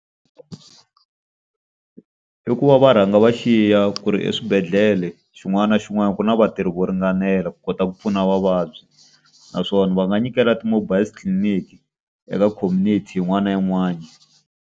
I ku va va rhanga va xiya ku ri eswibedhlele xin'wana na xin'wana ku na vatirhi vo ringanela ku kota ku pfuna vavabyi. Naswona va nga nyikela ti-mobile clinic eka community yin'wana na yin'wana.